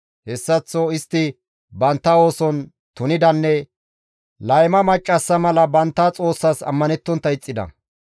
Hessaththo istti bantta ooson tunidanne layma maccassa mala bantta Xoossas ammanettontta ixxida.